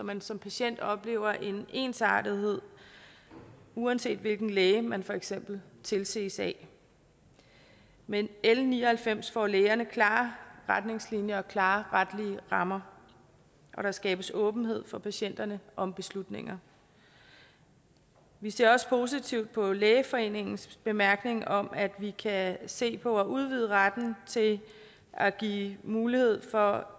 man som patient oplever en ensartethed uanset hvilken læge man for eksempel tilses af med l ni og halvfems får lægerne klare retningslinjer og klare retlige rammer og der skabes åbenhed for patienterne om beslutninger vi ser også positivt på lægeforeningens bemærkning om at vi kan se på at udvide retten til at give mulighed for